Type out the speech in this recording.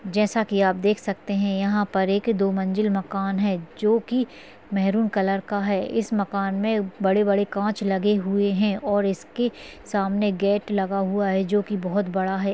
जैसा की आप देख सकते है यहा पर एक दो मंजिल मकान हैं जो की मेहरुन कलर का हैं इस मकान मे बड़े-बड़े काँच लगे हुए हैं और इसके सामने गेट लगा हुआ है जो की बहुत बड़ा हैं।